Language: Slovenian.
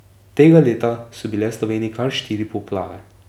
Tega leta so bile v Sloveniji kar štiri poplave.